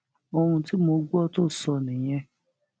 ohun tí mo gbọ tó sọ nìyẹn